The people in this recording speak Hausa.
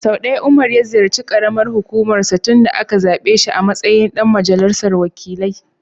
Sau ɗaya Umar ya ziyarci ƙaramar hukumar sa tun da aka zaɓe shi a matsayin ɗan majalisar wakilai.